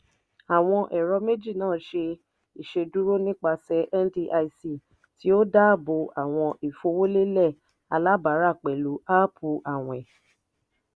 àwọn ẹ̀rọ̀ méjì náà jẹ́ ìṣedúró nipasẹ̀ ndic tí ó dáàbò àwọn ìfowólélẹ̀ alábàárà pẹ̀lú áápù àwìn.